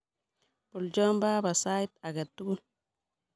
Bolcho baba sait age tugul.